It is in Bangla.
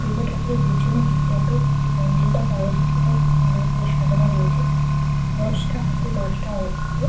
দুর্গা ঠাকুরের পেছনের দিকটা তো যে প্যান্ডেল টা করা রয়েছে সেটাও খুব সুন্দর ভাবে সাজানো রয়েছে দশটা হাতে দশটা অস্ত্র।